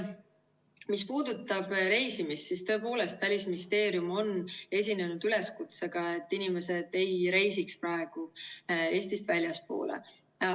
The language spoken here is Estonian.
Mis puudutab reisimist, siis tõepoolest, Välisministeerium on esinenud üleskutsega, et inimesed ei reisiks praegu Eestist väljapoole.